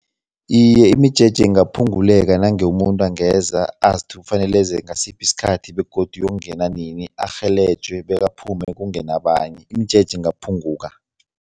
Iye, imijeje ingaphunguleka nange umuntu angeza azi kufanele eze ngasiphi isikhathi begodu uyokungena nini, arhelejwe bekaphume kungene abanye, imijeje ingaphunguka.